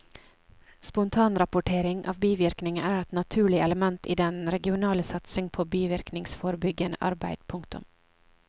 Spontanrapportering av bivirkninger er et naturlig element i den regionale satsing på bivirkningsforebyggende arbeid. punktum